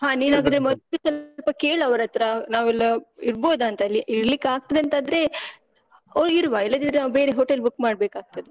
ಹಾ ನೀನ್ ಹಾಗಾದ್ರೆ ಮೊದ್ಲು ಸ್ವಲ್ಪ ಕೇಳ್ ಅವರ್ಹತ್ರ, ನಾವ್ ಎಲ್ಲ ಇರ್ಬೋದಾಂತ ಅಲ್ಲಿ. ಇರ್ಲಿಕ್ಕ್ ಆಗ್ತದೆ ಅಂತ್ ಆದ್ರೆ ಅವ್ರ್ ಇರುವ, ಇಲ್ಲದಿದ್ರೆ ನಾವ್ ಬೇರೆ hotel book ಮಾಡ್ಬೇಕಾಗ್ತದೆ.